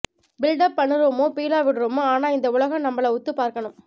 build up பண்ணுறமோ பீலா விடுறமோ ஆனா இந்த உலகம் நம்மள உத்து பார்க்கனும்